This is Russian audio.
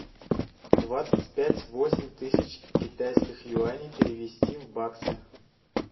двадцать пять восемь тысяч китайских юаней перевести в баксы